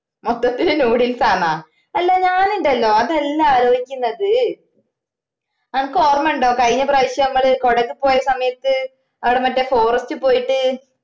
മൊത്തത്തില് noodles ആന്നാ എല്ലാ ഞാനുണ്ടല്ലോ അതല്ല ആലോയിക്കുന്നത് ആനക്കൊർമ ഇണ്ടോ കഴിഞ്ഞ പ്രാവിശ്യം മ്മള് കൊടക് പോയ സമയത്തു ആട മറ്റേ forest പോയിട്ട്